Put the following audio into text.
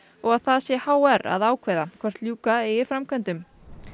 og að það sé h r að ákveða hvort ljúka eigi framkvæmdum